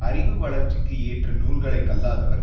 அறிவு வளர்ச்சிக்கு ஏற்ற நூல்களை கல்லாதவர்